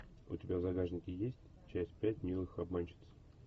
у тебя в загашнике есть часть пять милых обманщиц